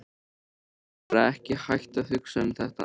Ég get bara ekki hætt að hugsa um þetta.